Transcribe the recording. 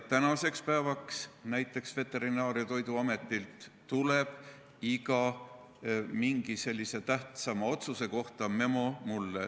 Tänaseks päevaks tuleb näiteks Veterinaar- ja Toiduametilt iga tähtsama otsuse kohta mulle memo.